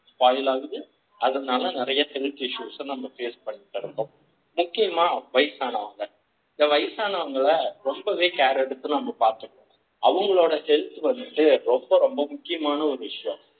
spoil ஆகுது அதனால ‌நிறைய health issues நம்ம face பண்றோம்ஸ முக்கியமா வயசானவங்க இந்த வயசானவங்கள ரொம்பவே care எடுத்து நம்ம பாத்துக்குறோம் அவங்களோட health வந்து ரொம்ப ரொம்ப முக்கியமான ஒரு விஷயம்